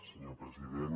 senyor president